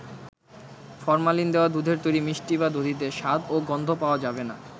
Formalin দেওয়া দুধের তৈরি মিষ্টি বা দধিতে স্বাদ ও গন্ধ পাওয়া যাবে না।